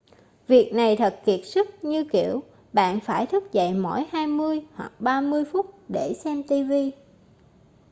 việc này thật kiệt sức như kiểu bạn phải thức dậy mỗi hai mươi hoặc ba mươi phút để xem tv